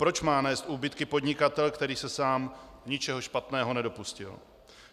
Proč má nést úbytky podnikatel, který se sám ničeho špatného nedopustil?